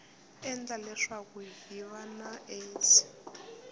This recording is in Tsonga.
endla leswaku hiv na aids